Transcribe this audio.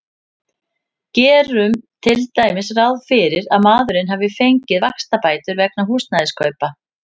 Gerum til dæmis ráð fyrir að maðurinn hafi fengið vaxtabætur vegna húsnæðiskaupa.